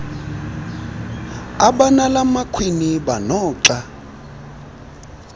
abanala makhwiniba noxa